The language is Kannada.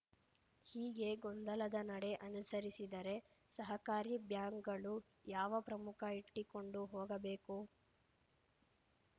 ಹೀಗೆ ಗೊಂದಲದ ನಡೆ ಅನುಸರಿಸಿದರೆ ಸಹಕಾರಿ ಬ್ಯಾಂಕ್‌ಗಳು ಯಾವ ಪ್ರಮುಖ ಇಟ್ಟಿಕೊಂಡು ಹೋಗಬೇಕು